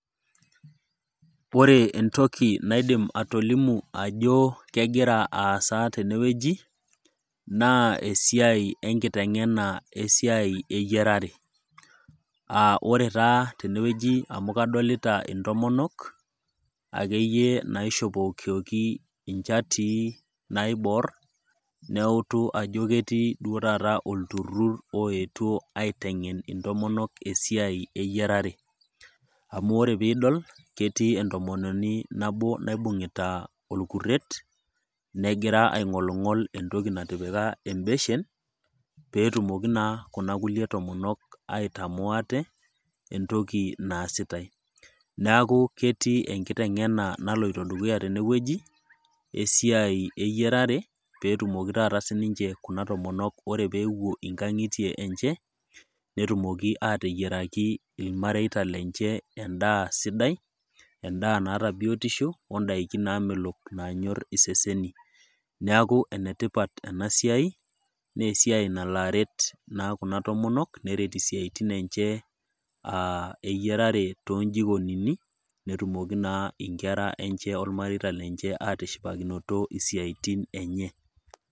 ore entoki naidim atolimu ajo kegira aaasa teneweji naa esiai enkiteng'ena esiai eyiarare aa ore taa teneweji amu kadolita intomonok akeyie naishopokoki inchatii naibor neutu ajo ketii duo taa olturur oyetuo aiteng'en intomonok esiai eyiarare, amu ore pee iteng'eni, nibungita olkuter negira aing'oling'ol entoki natipika ebeshen pee etumoki naa kunakulie tomonok aitamoo ate entoki naasitaae neeku ketii enkiteng'ena naloito dukuya teneweji, pee etumoki taata sinche ore pee epuo ilmareita lenye netumoki aateyier edaa sidai, odakin naamelok naanyor iseseni neeku enetipat enasiai nalo aret naa kuna tomonok netumoki naa inkera too imarita atishipakinoto isiaitin enche.